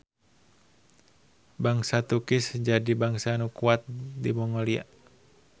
Bangsa Tukish jadi bangsa nu kuat di Mongolia.